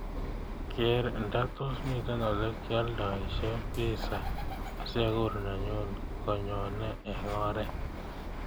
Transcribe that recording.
Keer ndatos mite olegialdoishen pissa asiaguur nenyun konyone eng oret